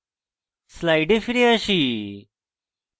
slides ফিরে যাই